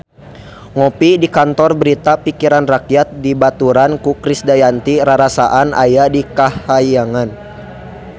Ngopi di Kantor Berita Pikiran Rakyat dibaturan ku Krisdayanti rarasaan aya di kahyangan